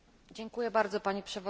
Pani Przewodnicząca!